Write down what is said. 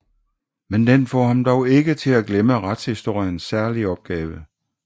Men den får ham dog ikke til at glemme retshistoriens særlige opgave